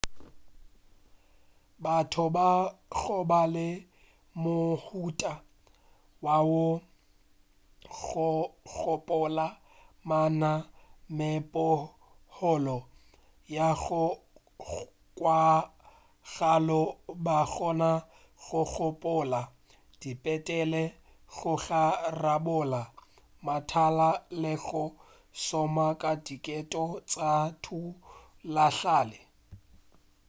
batho ba goba le mohuta wo wa go gopola ba na megopolo ya go kwagala ba kgona go gopola diphethene go rarabolla mathata le go šoma ka diteko tša thutahlale